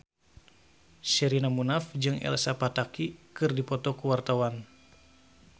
Sherina Munaf jeung Elsa Pataky keur dipoto ku wartawan